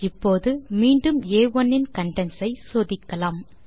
இப்போது மீண்டும் ஆ1 இன் கன்டென்ட்ஸ் ஐ சோதிக்கலாம்